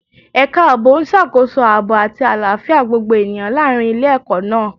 Ẹ̀ka ààbò ń ṣàkóso aaboy àti àlàáfíà gbogbo ènìyàn láàrin ilé-ẹkọ náà